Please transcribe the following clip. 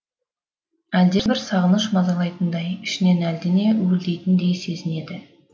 әлдебір сағыныш мазалайтындай ішінен әлдене уілдейтіндей сезінеді